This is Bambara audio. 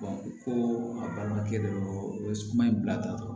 ko a balimakɛ dɔrɔn o ye kuma in bila ta dɔrɔn